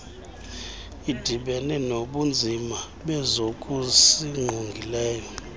idibene nobunzima bezokusingqongileyo